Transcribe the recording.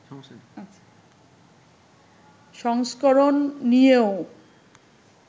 সংস্করণ নিয়েও